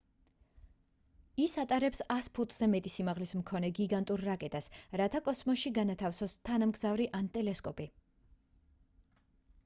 ის ატარებს 100 ფუტზე მეტი სიმაღლის მქონე გიგანტურ რაკეტას რათა კოსმოსში განათავსოს თანამგზავრი ან ტელესკოპი